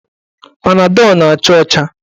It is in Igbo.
Panadọl na-acha ọcha.